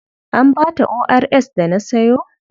An ba ta ORS da na sayo?